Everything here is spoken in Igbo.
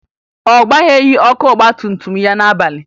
Ọ gbagheghi ọkụ ọgbatumtum ya n'abalị